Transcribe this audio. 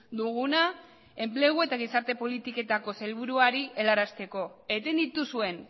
duguna enplegu eta gizarte politiketako sailburuari helarazteko eten dituzuen